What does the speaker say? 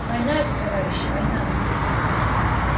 война это товарищи война